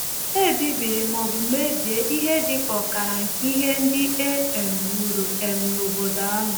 E bibiri ma ọ bụ mebie ihe dị ka ọkara nke ihe ndị e um wuru um n’obodo ahụ.